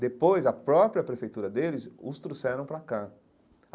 Depois, a própria prefeitura deles os trouxeram para cá.